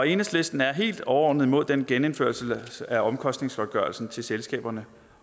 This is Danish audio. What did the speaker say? enhedslisten er helt overordnet mod den genindførelse af omkostningsgodtgørelsen til selskaber